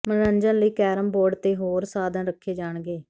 ਮਨੋਰੰਜਨ ਲਈ carrom board ਤੇ ਹੋਰ ਸਾਧਨ ਰੱਖੇ ਜਾਣਗੇ